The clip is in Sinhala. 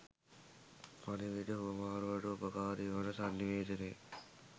පණිවිඩ හුවමාරුවට උපකාරී වන සන්නිවේදනය,